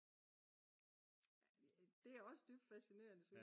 det er også dybt fascinerende